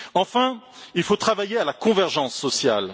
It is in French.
Enfin, il faut travailler à la convergence sociale.